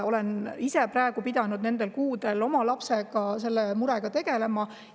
Olen kuudel oma lapse puhul pidanud selle murega tegelema.